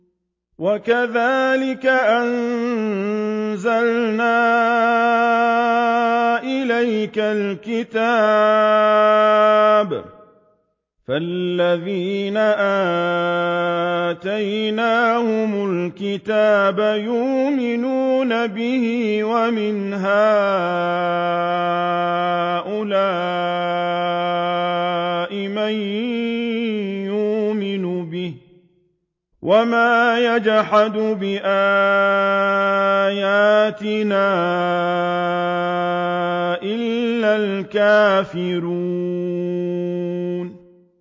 وَكَذَٰلِكَ أَنزَلْنَا إِلَيْكَ الْكِتَابَ ۚ فَالَّذِينَ آتَيْنَاهُمُ الْكِتَابَ يُؤْمِنُونَ بِهِ ۖ وَمِنْ هَٰؤُلَاءِ مَن يُؤْمِنُ بِهِ ۚ وَمَا يَجْحَدُ بِآيَاتِنَا إِلَّا الْكَافِرُونَ